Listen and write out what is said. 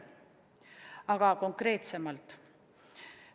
Aga konkreetsemalt.